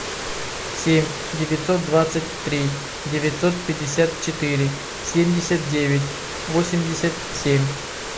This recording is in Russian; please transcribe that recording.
семь девятьсот двадцать три девятьсот пятьдесят четыре семьдесят девять восемьдесят семь